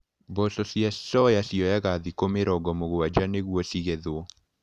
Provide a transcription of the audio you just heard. Mboco cia soya cioyaga thikũ mĩrongo mũgwanja nĩguo cigethwo.